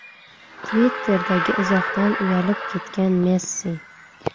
Twitter’dagi izohdan uyalib ketgan Messi .